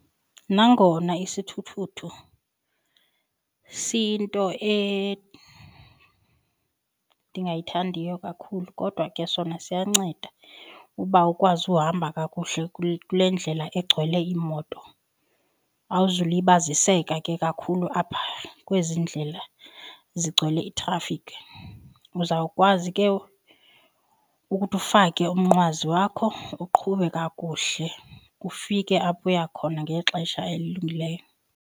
Nangona isithuthuthu siyinto endingayithandiyo kakhulu kodwa ke sona siyanceda uba ukwazi uhamba kakuhle kule ndlela egcwele iimoto. Awuzulibaziseka ke kakhulu apha kwezi ndlela zigcwele itrafikhi. Uzawukwazi ke ukuthi ufake umnqwazi wakho uqhube kakuhle, ufike apho uya khona ngexesha elilungileyo.